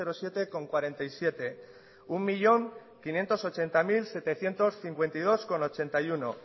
siete coma cuarenta y siete un millón quinientos ochenta mil setecientos cincuenta y dos coma ochenta y uno